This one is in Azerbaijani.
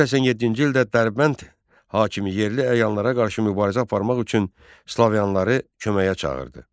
987-ci ildə Dərbənd hakimi yerli əyanlara qarşı mübarizə aparmaq üçün Slaviyalıları köməyə çağırdı.